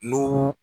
N'u